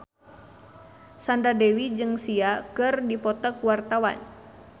Sandra Dewi jeung Sia keur dipoto ku wartawan